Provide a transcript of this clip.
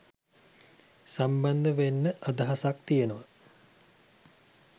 සම්බන්ධ වෙන්න අදහසක් තියෙනවා